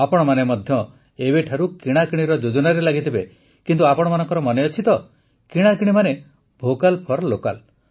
ଆପଣମାନେ ମଧ୍ୟ ଏବେଠାରୁ କିଣାକିଣିର ଯୋଜନାରେ ଲାଗିଥିବେ କିନ୍ତୁ ଆପଣମାନଙ୍କର ମନେଅଛି ତ କିଣାକିଣି ମାନେ ଭୋକାଲ୍ ଫର୍ ଲୋକାଲ୍